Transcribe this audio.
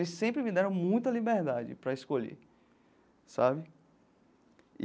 Sempre me deram muita liberdade para escolher, sabe?